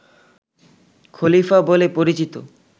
খলিফা বলে পরিচিত